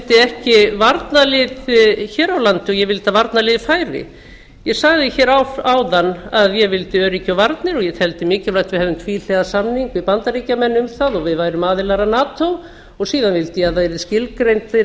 vildi ekki varnarlið hér á landi og ég vildi að varnarliðið færi ég sagði hér áðan að ég vildi öryggi og varnir og ég teldi mikilvægt að við hefðum tvíhliða samning við bandaríkjamenn um það og við værum aðilar að nato og síðan vildi ég að væru skilgreindir